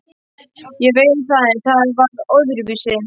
Ég veit það en þetta var öðruvísi.